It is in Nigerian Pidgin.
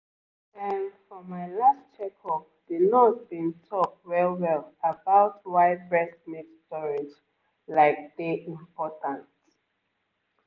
ehm for my last checkup the nurse been talk well-well about why breast milk storage like dey important